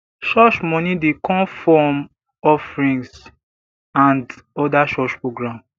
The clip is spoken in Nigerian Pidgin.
church money dey come form offerings and other church program